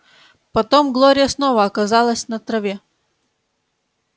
потом глория снова оказалась на траве